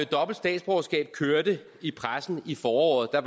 dobbelt statsborgerskab kørte i pressen i foråret var